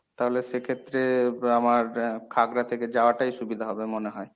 তাহলে সেক্ষেত্রে আমার এর খাগড়া থেকে যাওয়াটাই সুবিধা হবে মনে হয়।